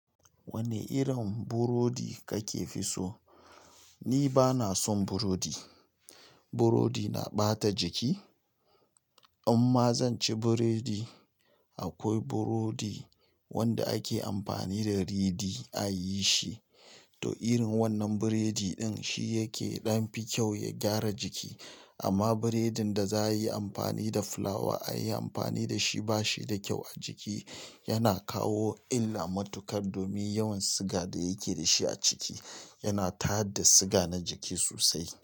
Wane irin burodi kake fi so? Ni bana son burodi. Burodi na ɓata jiki. Imma zan ci biredi. Akwai burodi wanda ake amfani da ridi a yi shi, to irin wannan biredi din shi yake ɗan fi kyau ya gyara jiki. Amma biredin da za a yi amfani da fulawa a yi amfani da shi ba shi da kyau a jiki. Yana kawo illa matuƙa domin yawan siga da yake da shi a ciki. Yana tada siga na jiki sosai.